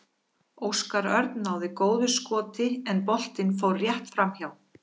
Óskar Örn náði góðu skoti en boltinn fór rétt framhjá.